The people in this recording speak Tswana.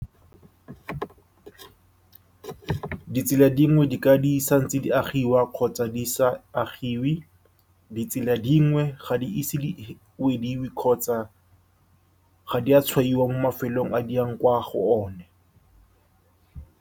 Ditsela dingwe di ka, di sa ntse di agiwa kgotsa di sa agiwe, itsela dingwe ga di ise di wediwe kgotsa ga di a tshwaiwa mo mafelong a di yang kwa go one.